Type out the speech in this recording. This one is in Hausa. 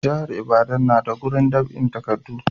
Jihar ibadan na da gurin dab'in takadu